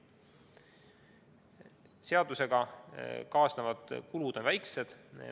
Seadusega kaasnevad kulud on väikesed.